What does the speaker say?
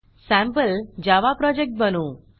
sample Java project बनवू